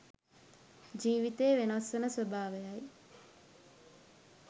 ජීවිතයේ වෙනස් වන ස්වභාවය යි.